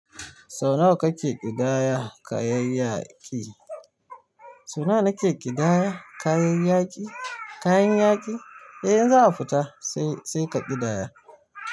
Sau nawa kake ƙidaya kayan yaƙi? Sau nawa nake ƙidaya kayan yaƙi, kayan yaƙi? Eh in za'a fita sai, sai ka ƙidaya.